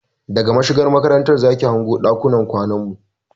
Daga mashigar makaranta zaki iya hango ɗakunan kwanan mu